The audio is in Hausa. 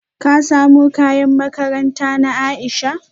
Ka samo kayan makaranta na Aisha?